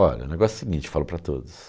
Olha, o negócio é o seguinte, falo para todos.